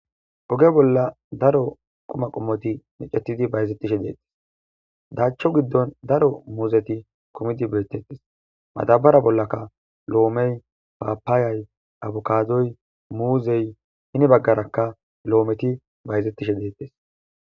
oge bolla daro qoma qommoti necetidi bayzetishe deettes daachcho giddon daro muuzeti komidi beettettes madabara bollaka lo7omey paapaayay abukadoy muuzey hini baggarakka lo7ometi bayzettishe deettes